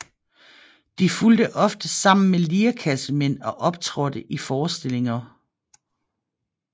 De fulgte ofte sammen med lirekassemænd og optrådte i forestillinger